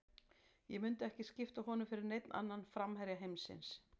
Ég myndi ekki skipta honum fyrir neinn annan framherja heimsins.